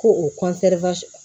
Ko o